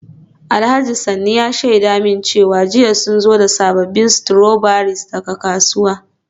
Alhaji Sanni ya shaida min cewa jiya sun zo da sabbin strawberries daga kasuwa.